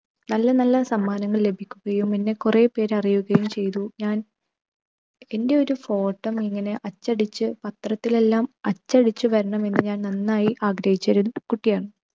നല്ല നല്ല സമ്മാനങ്ങൾ ലഭിക്കുകയും എന്നെ കുറേപ്പേർ അറിയുകയും ചെയ്തു. ഞാൻ എൻ്റെയൊരു photo ഇങ്ങനെ അച്ചടിച്ച് പത്രത്തിൽ എല്ലാം അച്ചടിച്ച് വരണമെന്ന് ഞാൻ നന്നായി ആഗ്രഹിച്ച ഒരു കുട്ടിയാണ്.